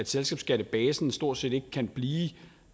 selskabsskattebasen stort set ikke kan blive